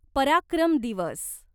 पराक्रम दिवस